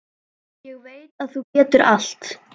Ég veit að þú getur allt.